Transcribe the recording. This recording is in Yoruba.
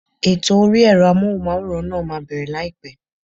Ètò orí ẹ̀rọ Amóhùnmáwòrán náà máa bẹ̀rẹ̀ láìpẹ́.